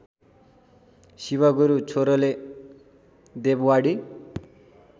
शिवगुरु छोरोले देववाणी